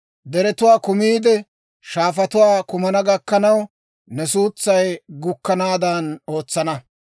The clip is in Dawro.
Deretuwaa kammiide, shaafatuwaa kumana gakkanaw, ne suutsay gukkanaadan ootsana.